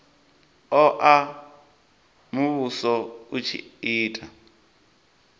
oa muvhuso u tshi ita